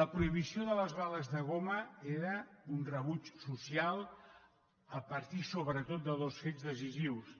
la prohibició de les bales de goma era un rebuig social a partir sobretot de dos fets decisius